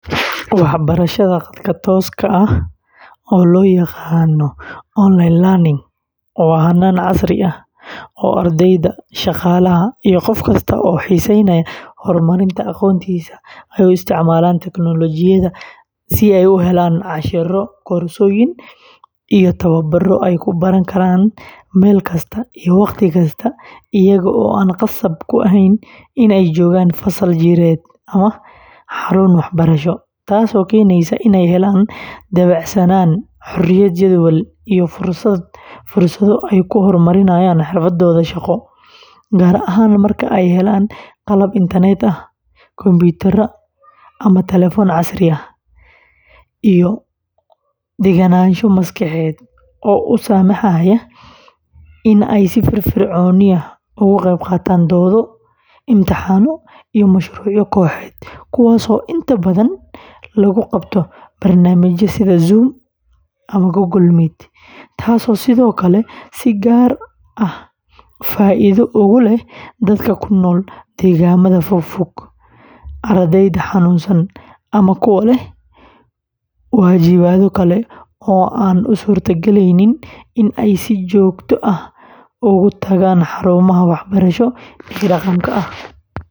Waxbarashada khadka tooska ah, oo loo yaqaan "online learning," waa hannaan casri ah oo ardayda, shaqaalaha, iyo qof kasta oo xiisaynaya horumarinta aqoontiisa ay u isticmaalaan teknoolojiyadda si ay u helaan casharro, koorsooyin, iyo tababaro ay ku baran karaan meel kasta iyo wakhti kasta, iyaga oo aan khasab ku ahayn in ay joogaan fasal jireed ama xarun waxbarasho, taasoo keenaysa in ay helaan dabacsanaan, xorriyad jadwal, iyo fursado ay ku hormariyaan xirfadooda shaqo, gaar ahaan marka ay helayaan qalab internet ah, kombiyuutar ama taleefan casri ah, iyo deganaansho maskaxeed oo u saamaxaysa in ay si firfircoon uga qaybqaataan doodo, imtixaano, iyo mashruucyo kooxeed, kuwaas oo inta badan lagu qabto barnaamijyo sida Zoom, Google Meet, ama Moodle, taasoo sidoo kale si gaar ah faa'iido ugu leh dadka ku nool deegaannada fogfog, ardayda xanuunsan, ama kuwa leh waajibaadyo kale oo aan u suurtogelin in ay si joogto ah u tagaan xarumaha waxbarasho ee dhaqanka ah.